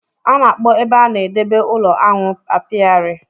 A na-akpọ ebe a na-edebe ụlọ aṅụ Apiary